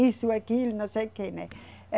Isso, aquilo, não sei o quê, né.